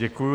Děkuji.